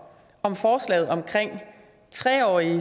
om forslaget om at tre årige